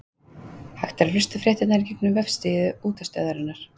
Hægt er að hlusta á fréttirnar í gegnum vefsíðu útvarpsstöðvarinnar.